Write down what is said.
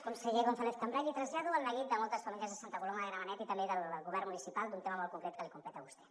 conseller gonzàlez cambray li trasllado el neguit de moltes famílies de santa coloma de gramenet i també del govern municipal d’un tema molt concret que li competeix a vostè